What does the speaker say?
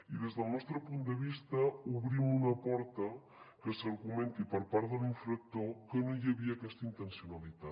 i des del nostre punt de vista obrim una porta al fet que s’argumenti per part de l’infractor que no hi havia aquesta intencionalitat